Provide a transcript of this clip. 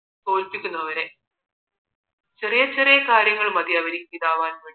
തോല്പിക്കുന്നു അവരെ ചെറിയ ചെറിയ കാര്യങ്ങൾ മതി അവർക്ക് ഇതാവാൻ